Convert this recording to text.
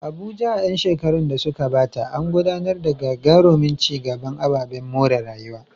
Abuja, a ƴan shekarun da suka gabata, an gudanar da gagarumin ci gaban ababen more rayuwa.